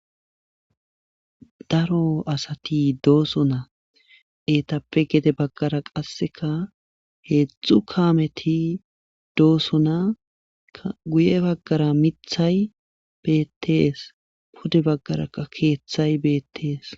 Daro asati dooso na eetappe gede baggara qasseka heedzdxzu kaameti doosna guye baggara mithay beettees pude baggaraa keeththay beettees